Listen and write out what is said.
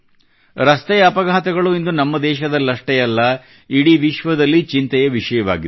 ರಸ್ತೆ ಅಪಘಾತಗಳು ಇಂದು ನಮ್ಮ ದೇಶದಲ್ಲಷ್ಟೇ ಅಲ್ಲ ಇಡೀ ವಿಶ್ವದಲ್ಲಿ ಚಿಂತೆಯ ವಿಷಯವಾಗಿದೆ